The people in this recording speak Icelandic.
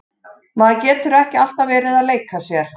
Maður getur ekki alltaf verið að leika sér.